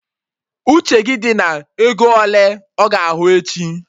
Uche gị dị na ego ele ọ ga ahụ echi!